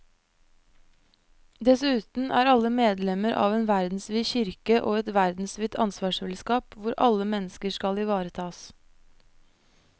Dessuten er alle medlemmer av en verdensvid kirke og et verdensvidt ansvarsfellesskap hvor alle mennesker skal ivaretas.